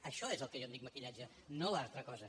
això és al que jo en dic maquillatge no l’altra cosa